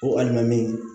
Ko alimami